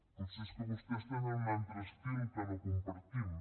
potser és que vostès tenen un altre estil que no compartim